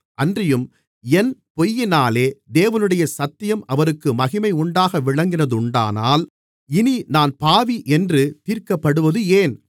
அன்றியும் என் பொய்யினாலே தேவனுடைய சத்தியம் அவருக்கு மகிமையுண்டாக விளங்கினதுண்டானால் இனி நான் பாவி என்று தீர்க்கப்படுவது ஏன்